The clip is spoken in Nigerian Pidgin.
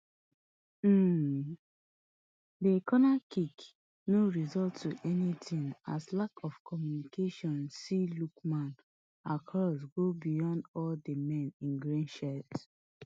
um di cornerkick no result to anytin as lack of communication see lookman cross go beyond all di men in green shirts